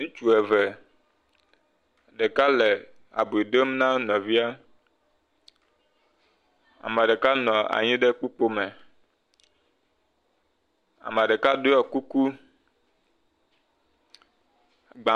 Ŋutsu eve. Ɖeka le abi dom na nɔvia. Ame ɖeka nɔ anyi ɖe kpukpoe me. Ame ɖeka ɖɔ kuku. Gba.